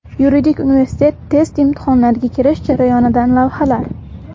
Yuridik universitet test imtihonlariga kirish jarayonidan lavhalar.